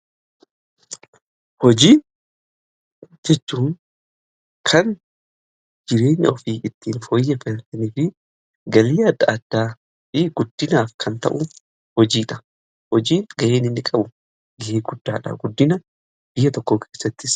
Hojii jechuu kan jireenya ofii ittiin fooyyefataniifi galii adda addaa fi guddinaaf kan ta'u hojiidha. Hojii ga'e inni qabu ga'ee guddaadha, guddina biyya tokko keessatti.